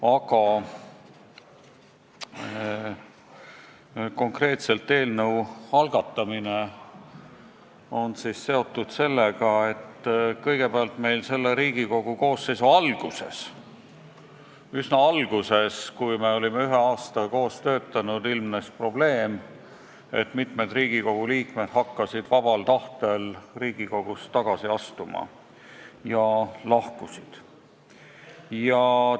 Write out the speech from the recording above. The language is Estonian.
Aga konkreetse eelnõu algatamine on seotud sellega, et praeguse Riigikogu koosseisu töö alguses, kui me olime ühe aasta koos töötanud, ilmnes probleem, et rahvasaadikud hakkasid vabal tahtel Riigikogust tagasi astuma ja mitu meie hulgast lahkus koosseisust.